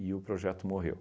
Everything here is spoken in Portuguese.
o projeto morreu.